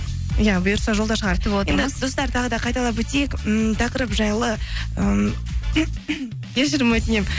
иә бұйырса жолда шығар достар тағы да қайталап өтейік ммм тақырып жайлы кешірім өтінемін